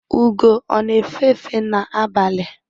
Ugo ọ na efe efe na-abalị?